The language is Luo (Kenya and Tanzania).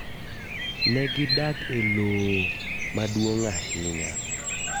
Ne gidak e loo maduong ahinya.